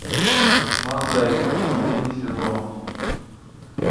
мозаика последний сезон